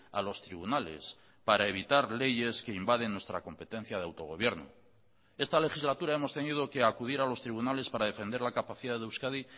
a los tribunales para evitar leyes que invaden nuestra competencia de autogobierno esta legislatura hemos tenido que acudir a los tribunales para defender la capacidad de euskadi